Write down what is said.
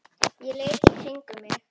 Ég leit í kringum mig.